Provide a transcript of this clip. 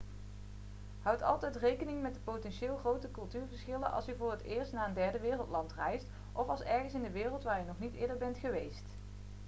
houd altijd rekening met de potentieel grote culturele verschillen als u voor het eerst naar een derdewereldland reist of ergens in de wereld waar u nog niet eerder bent geweest